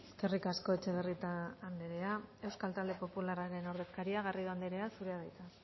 eskerrik asko etxebarrieta anderea euskal talde popularraren ordezkaria garrido anderea zurea da hitza